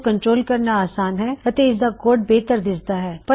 ਇਸਨੂੰ ਕੰਟਰੋਲ ਕਰਨਾ ਅਸਾਨ ਹੈ ਅਤੇ ਇਸਦਾ ਕੋਡ ਬੇਹਤਰ ਦਿਸਦਾ ਹੈ